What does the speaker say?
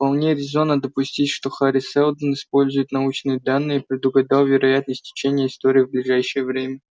вполне резонно допустить что хари сэлдон используя научные данные предугадал вероятное течение истории в ближайшее время